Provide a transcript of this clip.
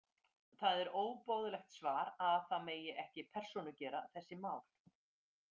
Það er óboðlegt svar að það megi ekki persónugera þessi mál.